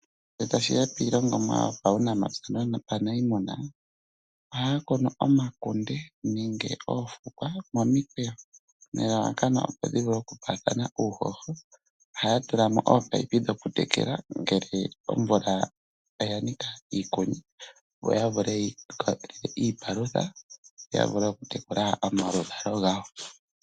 Ngele tashiya piilongomwa yuunamapya nuuniimuna, ohaya kunu omakunde nenge oofukwa momikweyo, nelalakano opo dhivule okupaathana uuhoho. Ohaya tulamo ominino dhokutekela, ngele omvula oyanika kaayiko, yo yavule okumona mo iipalutha, ya vule okutekula omaluvalo gawo.